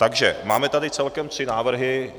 Takže máme tady celkem tři návrhy.